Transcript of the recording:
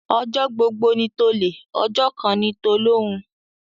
Ọjọ́ gbogbo ni tolè, ọjọ́ kan ni tolóhun.